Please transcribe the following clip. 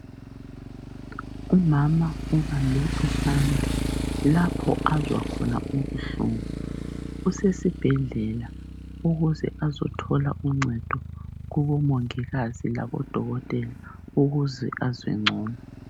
umama ubambe isandla lapho azwa khona ubuhlungu usesibhedlela ukuze azothola uncedo kubo mongikazi labo dokotela ukuze azwe ncono